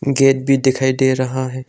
Gate भी दिखाई दे रहा है।